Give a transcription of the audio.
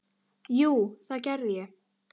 Jú, það gerði ég.